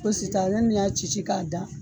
Fosi t'a la. Ne bi n'a ci ci ka da.